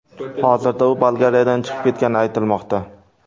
Hozirda u Bolgariyadan chiqib ketgani aytilmoqda.